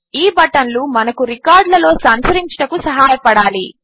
ఈ బటన్లు మనము రికార్డులలో సంచరించుటకు సహాయపడాలి